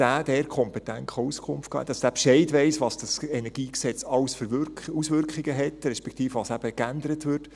Dieser sollte dort kompetent Auskunft geben können und sollte Bescheid wissen, welche Auswirkungen das KEnG hat, respektive was eben geändert wird.